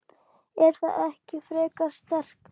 Er það ekki frekar sterkt?